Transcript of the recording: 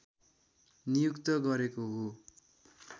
नियुक्त गरेको हो